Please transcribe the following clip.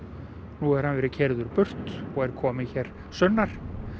nú hefur hann verið keyrður burt og er kominn sunnar